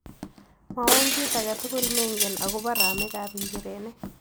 Mwawon kiit age tugul ne ngen agobo ramikap njirenik